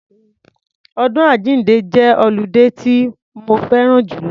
Ọdún àjínde jẹ́ ọludé tí mo fẹ́ran jùlọ.